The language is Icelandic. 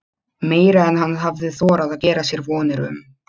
Meira en hann hafði þorað að gera sér vonir um.